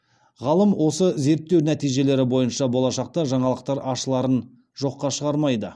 ғалым осы зерттеу нәтижелері бойынша болашақта жаңалықтар ашыларын жоққа шығармайды